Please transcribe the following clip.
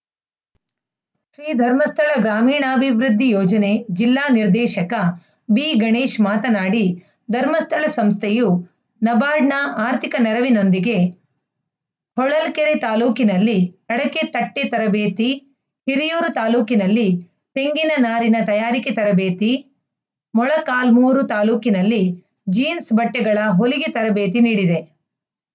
ಶ್ರೀಧರ್ಮಸ್ಥಳ ಗ್ರಾಮೀಣಾಭಿವೃದ್ಧಿ ಯೋಜನೆ ಜಿಲ್ಲಾ ನಿರ್ದೇಶಕ ಬಿಗಣೇಶ್‌ ಮಾತನಾಡಿ ಧರ್ಮಸ್ಥಳ ಸಂಸ್ಥೆಯು ನಬಾರ್ಡ್‌ನ ಆರ್ಥಿಕ ನೆರವಿನೊಂದಿಗೆ ಹೊಳಲ್ಕೆರೆ ತಾಲೂಕಿನಲ್ಲಿ ಅಡಕೆ ತಟ್ಟೆತರಬೇತಿ ಹಿರಿಯೂರು ತಾಲೂಕಿನಲ್ಲಿ ತೆಂಗಿನ ನಾರಿನ ತಯಾರಿಕೆ ತರಬೇತಿ ಮೊಳಕಾಲ್ಮುರು ತಾಲೂಕಿನಲ್ಲಿ ಜೀನ್ಸ್‌ ಬಟ್ಟೆಗಳ ಹೊಲಿಗೆ ತರಬೇತಿ ನೀಡಿದೆ